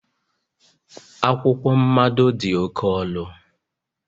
akwụkwọ mmado dị oke ọnụ